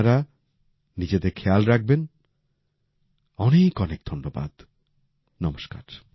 আপনারা নিজেদের খেয়াল রাখবেন অনেক অনেক ধন্যবাদ নমস্কার